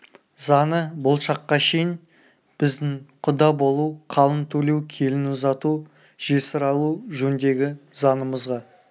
заңы бұл шаққа шейін біздің құда болу қалың төлеу келін ұзату жесір алу жөндегі заңымызға